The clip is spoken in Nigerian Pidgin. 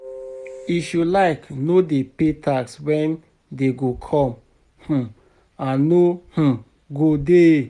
If you like no dey pay tax when dey go come um I no um go dey